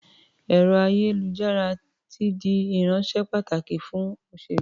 Ẹ̀rọ-ayékujára ti di irinṣẹ́ pàtàkì fún òṣèlú.